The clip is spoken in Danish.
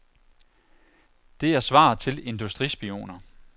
Det er svaret til industrispioner.